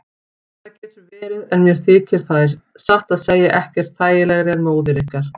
Það getur verið en mér þykir þær satt að segja ekkert þægilegri en móður ykkar.